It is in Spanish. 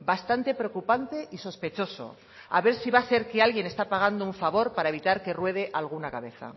bastante preocupante y sospechoso a ver si va a ser que alguien está pagando un favor para evitar que ruede alguna cabeza